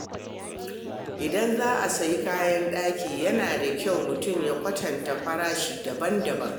Idan za a sayi kayan daki, yana da kyau mutum ya kwatanta farashi daban-daban.